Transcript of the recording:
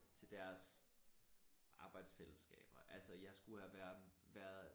Til deres arbejdsfællesskaber altså jeg skulle have været